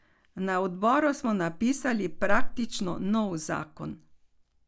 Na odboru smo napisali praktično nov zakon.